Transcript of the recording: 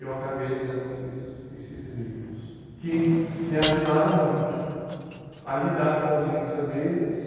eu acabei lendo esses esses livros, que me ajudaram muito a lidar com a ausência deles.